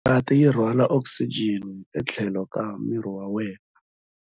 Ngati yi rhwala okisijeni etlhelo ka miri wa wena.